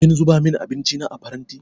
Kin zuba min abinci na a faranti?